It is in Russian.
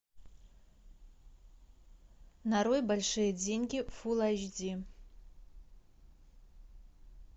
нарой большие деньги фул айч ди